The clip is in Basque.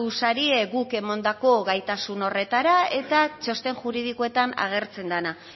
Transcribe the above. zarete guk emandako gaitasun horretara eta txosten juridikoetan agertzen dena